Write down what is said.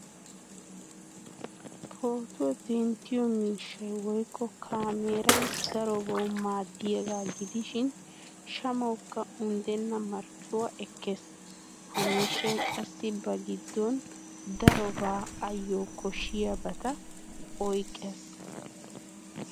Pootuwa denttiyo miishshay woykko kaameeray darobaw maaddiyaagaa gidishin shamawukka unddenna marccuwa ekkees. Ha miishshay qassi ba giddon darobaa ayyo koshshiyaabata oyqqes.